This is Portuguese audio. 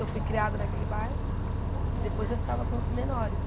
Eu fui criada naquele bairro e depois eu ficava com os menores.